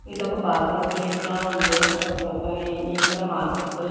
ఇది ఒక parking place లా ఉంది అక్కడ ఇక్కడ మార్కెట్ .